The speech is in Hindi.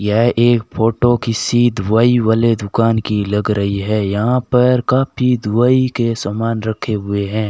यह एक फोटो किसी दवाई वाले दुकान की लग रही है यहां पर काफी दवाई के समान रखे हुए हैं।